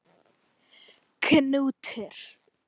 Knútur